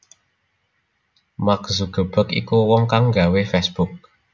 Mark Zuckerberg iku wong kang nggawe facebook